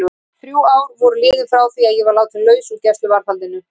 Þrjú ár voru liðin frá því að ég var látin laus úr gæsluvarðhaldinu.